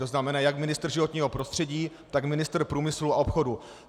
To znamená, jak ministr životního prostředí, tak ministr průmyslu a obchodu.